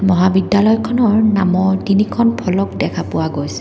মহাবিদ্যালয়খনৰ নামত তিনিখন ফলক দেখা পোৱা গৈছে।